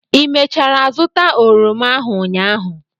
ị mechara zụta oroma ahụ ụnyaahụ?